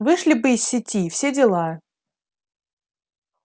вышли бы из сети и все дела